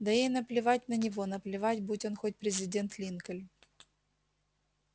да ей наплевать на него наплевать будь он хоть президент линкольн